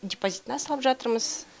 депозитына салып жатырмыз